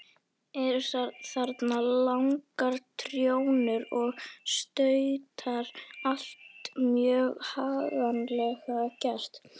Eru þarna langar trjónur og stautar, allt mjög haganlega gert.